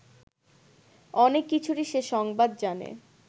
অনেক কিছুরই সে সংবাদ জানে